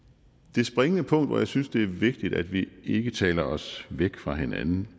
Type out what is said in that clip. det springende punkt hvor jeg synes det er vigtigt at vi ikke taler os væk fra hinanden